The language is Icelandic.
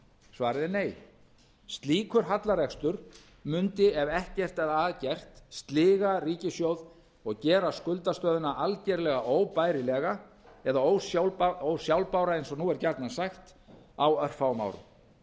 svarið er nei slíkur hallarekstur mundi ef ekkert er að gert sliga ríkissjóð og gera skuldastöðuna algjörlega óbærilega eða ósjálfbæra eins og nú er gjarnan sagt á örfáum árum